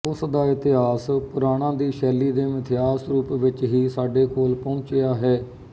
ਉਸਦਾ ਇਤਿਹਾਸ ਪੁਰਾਣਾਂ ਦੀ ਸ਼ੈਲੀ ਦੇ ਮਿਥਿਹਾਸ ਰੂਪ ਵਿੱਚ ਹੀ ਸਾਡੇ ਕੋਲ ਪਹੁੰਚਿਆ ਹੈ